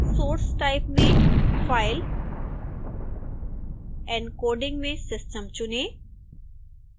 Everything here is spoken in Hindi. source type में file encoding में system चुनें